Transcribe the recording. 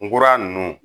Nkura nunnu